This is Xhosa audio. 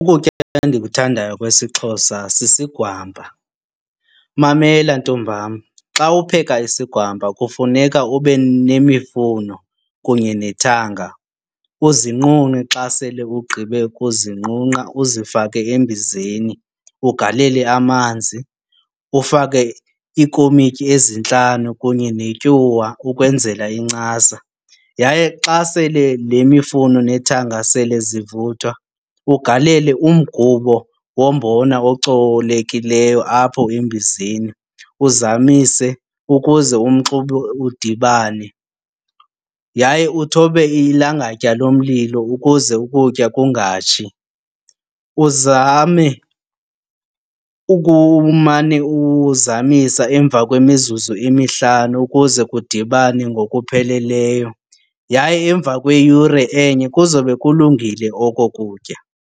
Ukutya endikuthandayo kwesiXhosa sisigwampa. Mamela ntombam, xa upheka isigwampa kufuneka ube nemifuno kunye nethanga uzinqunqe. Xa sele ugqibe ukuzinqunqa uzifake embizeni, ugalele amanzi, ufake iikomityi ezintlanu kunye netyuwa ukwenzela incasa. Yaye xa sele le mifuno nethanga sele zivuthwa ugalele umgubo wombona ocolekileyo apho embizeni, uzamise ukuze umxube udibane yaye uthobe ilangatya lomlilo ukuze ukutya kungatshi. Uzame ukumane uzamisa emva kwemizuzu emihlanu ukuze kudibane ngokupheleleyo. Yaye emva kweyure enye kuzobe kulungile oko kutya.